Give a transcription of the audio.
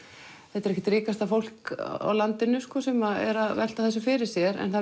þetta er ekkert ríkasta fólk á landinu sem er að velta þessu fyrir sér en það